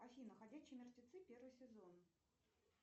афина ходячие мертвецы первый сезон